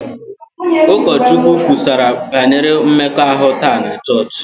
Ụkọchukwu kwusara banyere mmekọahụ taa na chọọchị